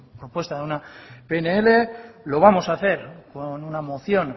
propuesta de una pnl lo vamos a hacer con una moción